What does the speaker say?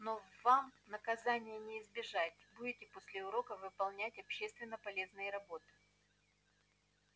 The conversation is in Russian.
но вам наказания не избежать будете после уроков выполнять общественно полезные работы